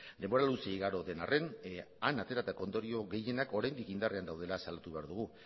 denbora luze igaro den arren han ateratako ondorio gehienak oraindik indarrean daudela salatu behar dugu